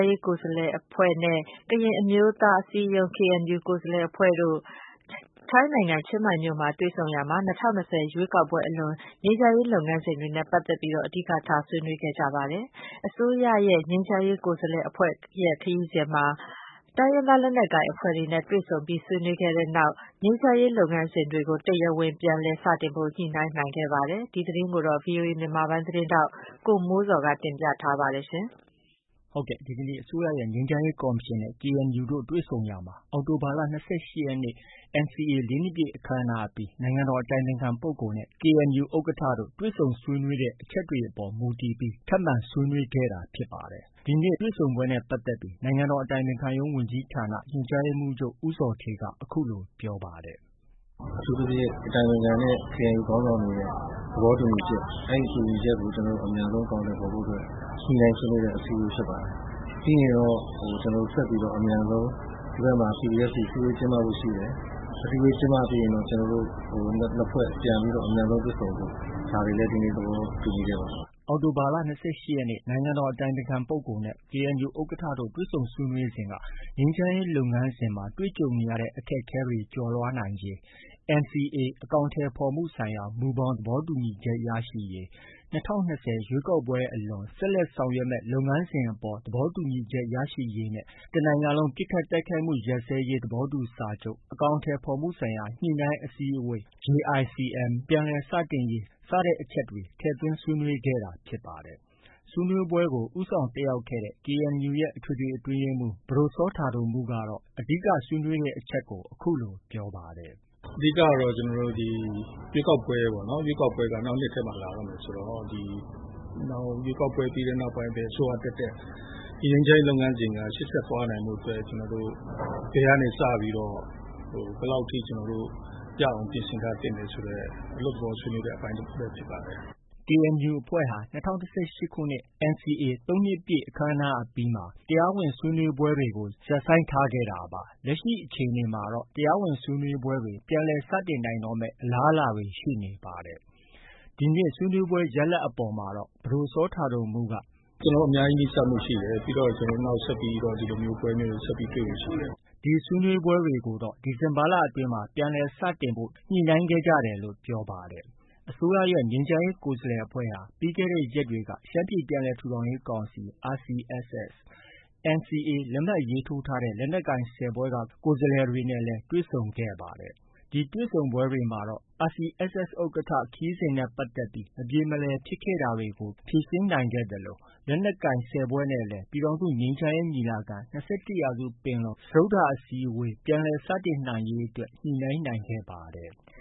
းရေး ကိုယ်စားလှယ်အဖွဲ့နဲ့ ကရင်အမျိုးသားအစည်းအရုံး KNU ကိုယ်စားလှယ်အဖွဲ့တို့ ထိုင်းနိုင်ငံ၊ ချင်းမိုင်မြို့မှာ တွေ့ဆုံရာမှာ ၂၀၂၀ ရွေးကောက်ပွဲအလွန် ငြိမ်းချမ်းရေးလုပ်ငန်းစဉ်တွေနဲ့ ပတ်သက်ပြီး အဓိကထား ဆွေးနွေးခဲ့ကြပါတယ်။ အစိုးရရဲ့ ငြိမ်းချမ်းရေးကိုယ်စားလှယ်အဖွဲ့ရဲ့ ခရီးစဉ်မှာ တိုင်းရင်းသား လက်နက်ကိုင်အဖွဲ့တွေနဲ့ တွေ့ဆုံပြီးဆွေးနွေးခဲ့တဲ့နောက် ငြိမ်းချမ်းရေးလုပ်ငန်းစဉ်တွေကို တရားဝင် ပြန်လည်စတင်ဖို့ ညှိနှိုင်းနိုင်ခဲ့ပါတယ်။ ဒီသတင်းကိုတော့ ဗွီအိုအေ မြန်မာပိုင်းရဲ့ သတင်းထောက် ကိုမိုးဇော်က တင်ပြထားပါတယ်။ ဟုတ်ကဲ့။ ဒီကနေ့ အစိုးရရဲ့ ငြိမ်းချမ်းရေးကော်မရှင်အဖွဲ့နဲ့ KNU တို့ တွေ့ဆုံရာမှာ အောက်တိုဘာလ ၂၈ရက်နေ့ NCA ၄နှစ်ပြည့် အခမ်းအနားအပြီး နိုင်ငံတော်အတိုင်ပင်ခံပုဂ္ဂိုလ်နဲ့ KNU ဥက္ကဋ္ဌတို့ တွေ့ဆုံဆွေးနွေးတဲ့ အချက်တွေအပေါ် မူတည်ပြီး ထပ်မံတွေ့ဆုံခဲ့တာဖြစ်ပါတယ်။ ဒီနေ့ တွေ့ဆုံပွဲနဲ့ပတ်သက်ပြီး နိုင်ငံတော်အတိုင်ပင်ခံရုံး ဝန်ကြီးဌာန ညွှန်ကြားရေးမှုးချုပ် ဦးဇော်ဌေးက အခုလို ပြောပါတယ်။ “အထူးသဖြင့် အတိုင်ပင်ခံနဲ့ KNU ခေါင်းဆောင်တွေရဲ့ သဘောတူညီချက် အဲ့ဒီတူညီချက်ကို ကျနော်တို့ အမြန်ဆုံးအကောင်အထည်ဖော်ဖို့ အတွက် ညှိနှိုင်းဆွေးနွေးတဲ့ ပွဲဖြစ်ပါတယ်။ ပြီးရင်တော့ ကျနော်တို့ အမြန်ဆုံး၊ ဒီဘက်ကမှာ PPST အစည်းအဝေးကျင်းပဖို့ ရှိတယ်။ အစည်းအဝေး ကျင်းပပြီးရင်တော့ ကျနော်တို့ ၂ ဖွဲ့ ပြန်ပြီးတော့ အမြန်ဆုံးတွေ့ဆုံဖို့ ဒါတွေလည်း ဒီနေ့ သဘောတူခဲ့ပါတယ်။” အောက်တိုဘာ၂၈ရက်နေ့ နိုင်ငံတော်အတိုင်ပင်ခံပုဂ္ဂိုလ်နဲ့ KNU ဥက္ကဋ္ဌတို့ တွေ့ဆုံဆွေးနွေးစဉ်က ငြိမ်းချမ်းရေးလုပ်ငန်းစဉ်မှာ တွေ့ကြုံနေရတဲ့ အခက်အခဲတွေ ကျော်လွှားနိုင်ရေး NCA အကောင်အထည်ဖော်မှုဆိုင်ရာ မူဘောင် သဘောတူညီချက် ရယူရေး ၂၀၂၀ ရွေးကောက်ပွဲအလွန် ဆက်လက်ဆောင်ရွက်မယ့် လုပ်ငန်းစဉ်အပေါ် သဘောတူညီချက်ရရှိရေးနဲ့ တစ်နိုင်ငံလုံးပစ်ခတ်တိုက်ခိုက်မှု ရပ်စဲရေးသဘောတူစာချုပ် အကောင်အထည်ဖော်မှုဆိုင်ရာ ညှိနှိုင်းအစည်းအဝေးပြန်လည် စတင်ရေး စတဲ့အချက်တွေ ထည့်သွင်းဆွေးနွေးခဲ့တာ ဖြစ်ပါတယ်။ ဆွေးနွေးပွဲကို ဦးဆောင်တက်ရောက်တဲ့ KNU ရဲ့ အထွေထွေအတွင်းရေးမှူး ပဒိုစောတာဒိုမှုးကတော့ အဓိက ဆွေးနွေးတဲ့အချက်တွေကို အခုလို ပြောပါတယ်။ “အဓိကတော့ ဒီ ရွေးကောက်ပွဲပေါ့။ ရွေးကောက်ပွဲက နောက်နှစ်ထဲမှာ လာတော့မယ်ဆိုတော့ ရွေးကောက်ပွဲပြီးတဲ့နောက်ပိုင်း ဘယ်အစိုးရတက်တက် ဒီငြိမ်းချမ်းရေးလုပ်ငန်းစဉ်က ရှေ့ဆက်သွားနိုင်ဖို့အတွက် ကျနော်တို့ ဘယ်ကနေ စပြီးတော့ ဘယ်လောက်အထိ ရအောင် ပြင်ဆင်ထားသင့်လဲဆိုတာ အလွတ်သဘောဆွေးနွေးတဲ့ အပိုင်းတစ်ခုလည်း ဖြစ်ပါတယ်။” KNU အဖွဲ့ဟာ ၂၀၁၈ခုနှစ် NCA ၃နှစ်မြောက်ပွဲအပြီးမှာ တရားဝင်ဆွေးနွေးပွဲတွေကို ရပ်ဆိုင်းထားခဲ့တာပါ။ လက်ရှိအခြေအနေမှာ တရားဝင်ဆွေးနွေးပွဲတွေ ပြန်လည် စတင်နိုင်တော့မယ် အလားအလာတွေရှိနေပါတယ်။ ဒီနေ့ ဆွေးနွေးပွဲ ရလဒ်အပေါ်မှာတော့ ပဒိုစောတာဒိုမှုးက - “ ကျနော်တို့ အများကြီး နီးစပ်မှုရှိတယ်။ ပြီးတော့ နောက် ဆက်ပြီးတော့ ဒီလိုမျိုးပွဲမျိုးတွေ ဆက်ပြီး တွေ့ဖို့ရှိတယ်။” ဒီဆွေးနွေးပွဲတွေကိုတော့ ဒီဇင်ဘာလအတွင်း ပြန်လည်စတင်ဖို့ ညှိနှိုင်းခဲ့ကြတယ်လို့ ပြောပါတယ်။ အစိုးရရဲ့ ငြိမ်းချမ်းရေးကိုယ်စားလှယ်အဖွဲ့ဟာ ပြီးခဲ့တဲ့ရက်တွေက ရှမ်းပြည်ပြန်လည်ထူထောင်ရေးကောင်စီ RCSS၊ NCA လက်မှတ်ရေးထိုးထားတဲ့ လက်နက်ကိုင် ၁၀ဖွဲ့ကိုယ်စားလှယ်တွေနဲ့လည်း တွေ့ဆုံခဲ့ပါတယ်။ ဒီတွေ့ဆုံပွဲတွေမှာတော့ RCSS ဥက္ကဋ္ဌ ခရီးစဉ်နဲ့ပတ်သက်ပြီး မပြေမလည်ဖြစ်ခဲ့တာတွေကို ဖြေရှင်းနိုင်ခဲ့သလို လက်နက်ကိုင် ၁၀ ဖွဲ့နဲ့လည်း ပြည်ထောင်စုငြိမ်းချမ်းရေးညီလာခံ - ၂၁ရာစုပင်လုံ စတုတ္ထအစည်းအဝေး ပြန်လည် စတင်နိုင်ရေးအတွက် ညှိနှိုင်းခဲ့ကြပါတယ်။